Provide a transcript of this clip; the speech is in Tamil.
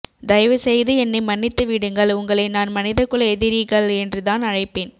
தயவு செய்து என்னை மன்னித்துவிடுங்கள் உங்களை நான் மனித குல எதிரிகள் என்றுதான் அழைப்பேன்